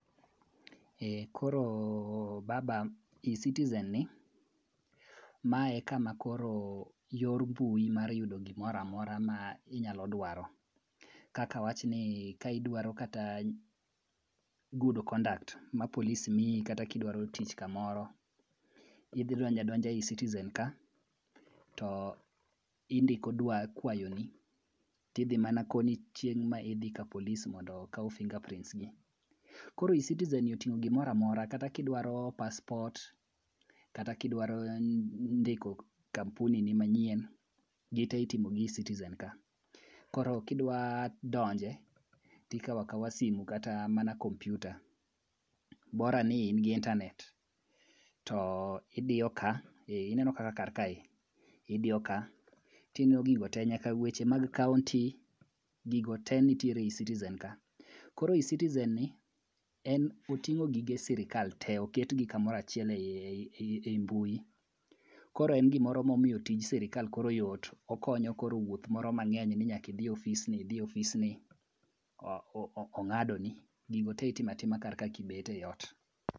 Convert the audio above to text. Koro baba, e-citizenni, ma en kama koro yor mbui mar yudo gimora mora minyalo dwaro, kaka wachni ka idwaro kata goos conduct ma polis miyi kata kidwaro tich kamoro, idhi donja donja e-citizenka, to indiko kwayoni, tidhi manakoni chieng' ma idhi kapolis mondo okaw finger prints ni. Koro e-citizenni oting'o gimora mora kata kidwaro passport kata kidwaro ndiko kampunini manyien, gite itimo i e-citizen ka. Koro kidwa donje, tikawo akawa simu kata mana kompyuta, bora ni in gi internet, to idiyo ka, ineno kaka kar kae, idiyo ka ting'iyo gigo te, nyaka weche mag kaonti, gigo te nitiere e-citizenka. Koro e-citizenni, en oting'o gige sirikal te, oketgi e kamoro achiel e mbui. Koro en gimoro momiyo tij sirikal koro yot, okonyo koro wuoth moro mang'eny ni nyaka idhi e ofisni, idhi e ofisni, ong'adoni. Gigo te itimo atima kar ka kibet ei ot.